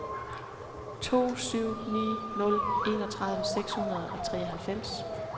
to syv ni nul enogtredive seks hundrede og treoghalvfems